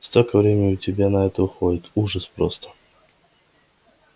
столько времени у тебя на это уходит ужас просто